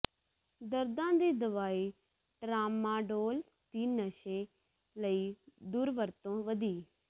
ਦਰਦਾਂ ਦੀ ਦਵਾਈ ਟਰਾਮਾਡੋਲ ਦੀ ਨਸ਼ੇ ਲਈ ਦੁਰਵਰਤੋਂ ਵਧੀ